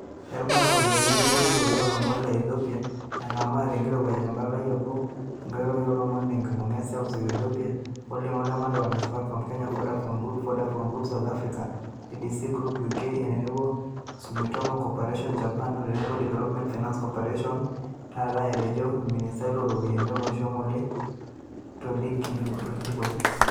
"Erubata o ropiyiani otenebo enkitoria o lomon le Ethiopia engamaa tenkirowaj empalai nabo enkoitoi o lomon tenkibunga e seuseu o Ethiopia olningo le makewan o Safaricom (Kenya), Vodafone Group (UK), Vodacom Group (South Africa), DCD Group (UK) otenebo Sumitomo Corporation (Japan) otenebo Development Finance Cooperation (DFC) taata," etejo olministai looropiyiani olosho ngole tolikilikuai.